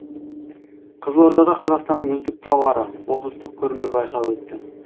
қызылордада қазақстанның үздік тауары облыстық көрме байқауы өтті